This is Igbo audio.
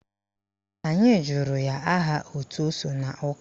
Anyị jụrụ ya aha òtù o so n'ụka